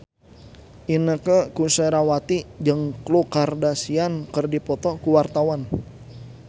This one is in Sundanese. Inneke Koesherawati jeung Khloe Kardashian keur dipoto ku wartawan